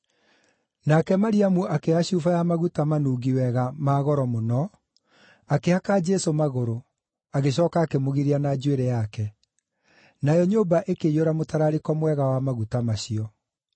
Nake Mariamu akĩoya cuba ya maguta manungi wega na ma goro mũno, akĩhaka Jesũ magũrũ, agĩcooka akĩmũgiria na njuĩrĩ yake. Nayo nyũmba ĩkĩiyũra mũtararĩko mwega wa maguta macio.